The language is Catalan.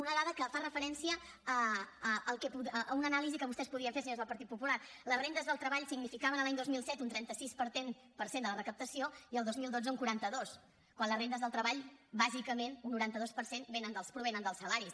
una dada que fa referència a una anàlisi que vostès podien fer senyors del partit popular les rendes del treball significaven l’any dos mil set un trenta sis per cent de la recaptació i el dos mil dotze un quaranta dos quan les rendes del treball bàsicament un noranta dos per cent provenen dels salaris